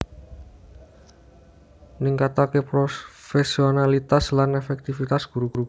ningkataké profésionalitas lan èfèktifitas guru guru